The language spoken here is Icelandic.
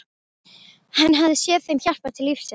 Hann hafði séð þeim hjálpað til lífsins.